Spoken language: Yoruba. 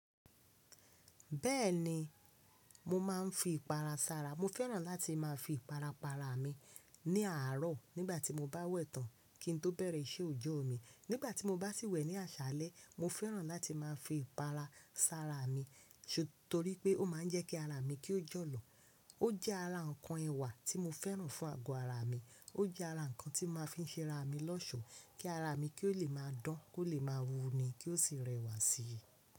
Bẹ́ẹ̀ni, mo máa ń fi ìpara sára. Mo fẹ́ràn láti ma fi ìpara pa ara mi ní aro nígbàtí. Nígbà tí mo bá sì wẹ̀ ní àṣálẹ́, mo fẹ́ràn láti máa fi ìpara sára mi torí pé ó máa ń jẹ́ kí ara mi kí ó jọ̀lọ̀. Ó jẹ́ ara nǹkan ẹwà tí mo fẹ́ràn fún àgo ara mi. Ó jẹ́ ara nǹkan tí mo máa ń fi ń ṣe ara mi lọ́ṣọ̀ọ́ kí ara mi kí ó lè máa dán, kó lè máa wúni kí ó sì rẹwà sí i.